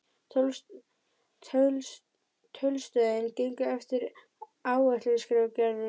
Tollstöðin gengur eftir áætlun skrifar Gerður.